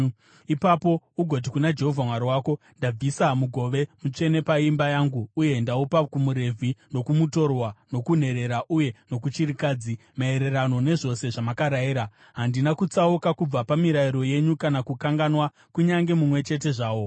Ipapo ugoti kuna Jehovha Mwari wako, “Ndabvisa mugove mutsvene paimba yangu uye ndaupa kumuRevhi, nokumutorwa, nokunherera uye nokuchirikadzi, maererano nezvose zvamakarayira. Handina kutsauka kubva pamirayiro yenyu kana kukanganwa kunyange mumwe chete zvawo.